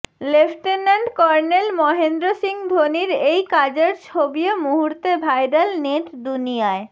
lieutenant colonel Mahendra Singh ধোনির এই কাজের ছবিও মুহূর্তে ভাইরাল নেট দুনিয়ায়